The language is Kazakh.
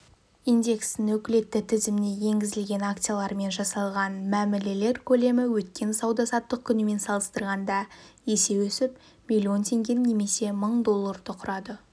индекстің өкілетті тізіміне енгізілген акциялармен жасалған мәмілелер көлемі өткен сауда-саттық күнімен салыстырғанда есе өсіп миллион теңгені немесе мың долларды құрады